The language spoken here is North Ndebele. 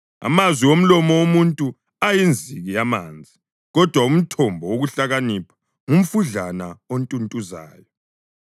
Amazwi omlomo womuntu ayinziki yamanzi, kodwa umthombo wokuhlakanipha ngumfudlana ontuntuzayo.